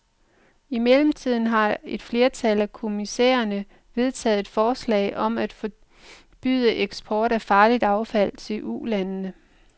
I mellemtiden har et flertal af kommissærerne vedtaget et forslag om at forbyde eksport af farligt affald til ulandene.